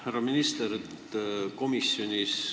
Härra minister!